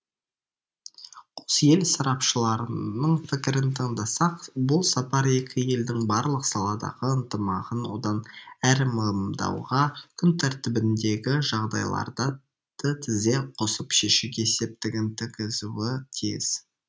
қос ел сарапшыларыларының пікірін тыңдасақ бұл сапар екі елдің барлық саладағы ынтымағын одан әрі мығымдауға күн тәртібіндегі жағдайларды тізе қосып шешуге септігін тигізуі тиіс